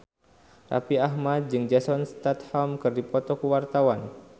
Raffi Ahmad jeung Jason Statham keur dipoto ku wartawan